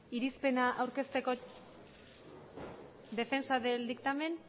defensa del dictamen